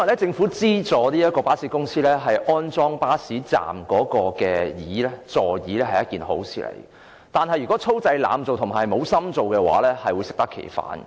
政府資助巴士公司在巴士站安裝座椅，本來是一件好事，但如果粗製濫造、漫不經心，便會適得其反。